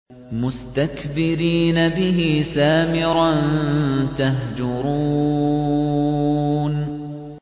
مُسْتَكْبِرِينَ بِهِ سَامِرًا تَهْجُرُونَ